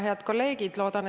Head kolleegid!